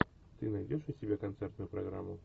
ты найдешь у себя концертную программу